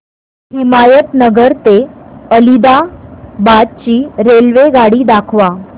हिमायतनगर ते आदिलाबाद ची रेल्वेगाडी दाखवा